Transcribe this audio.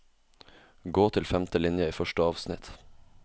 Gå til femte linje i første avsnitt